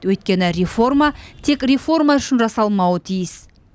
өйткені реформа тек реформа үшін жасалмауы тиіс